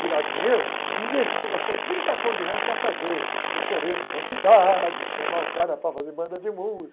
tirar dinheiro, investiu, gastou trinta contos de reais para fazer o coreto da cidade, chamar o cara para fazer banda de música.